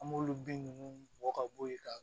An b'olu bin ninnu bɔ ka bo yen ka